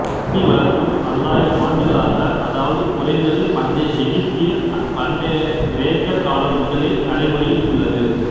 தேனீ வளர்ப்பு பல்லாயிரம் ஆண்டுகளாக அத்தாவது குறைந்தது பண்டைய எகுபதியர் பண்டைய கிரேக்கர் காலம் முதலே நடைமுறையில் உள்ளது